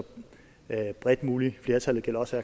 bredt som muligt flertal det gælder også